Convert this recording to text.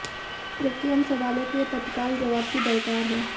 जबकि अन्य सवालों के तत्काल जवाब की दरकार है